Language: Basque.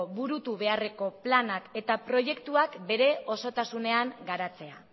burutzekoplanak eta proiektuak bere osotasunean garatzea